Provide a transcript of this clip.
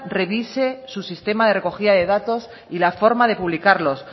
revise su sistema de recogida de datos y la forma de publicarlos